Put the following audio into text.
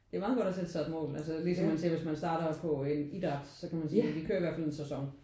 Det er meget godt at sætte sig et mål altså ligesom man sagde hvis man starter på en idræt. Så kan man sige: Vi kører i hvert fald en sæson